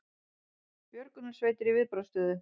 Björgunarsveitir í viðbragðsstöðu